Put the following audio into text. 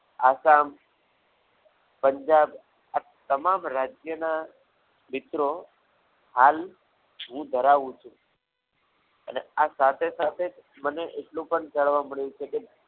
આસામ પંજાબ આ તમામ રાજ્યોના મિત્રો હાલ હું ધરાવું છું અને આ સાથે સાથે જ મને એટલું પણ જાણવા મળ્યું છે કે